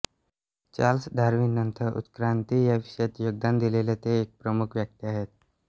Charles Darwin नंतर उत्क्रांती या विषयात योगदान दिलेले ते एक प्रमुख व्यक्ती आहेत